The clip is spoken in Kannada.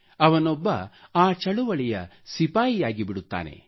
ಅವನೊಬ್ಬ ಆ ಚಳುವಳಿಯ ಸಿಪಾಯಿಯಾಗಿ ಬಿಡುತ್ತಾನೆ